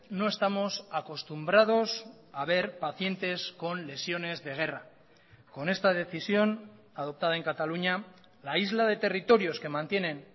no estamos acostumbrados a ver pacientes con lesiones de guerra con esta decisión adoptada en cataluña la isla de territorios que mantienen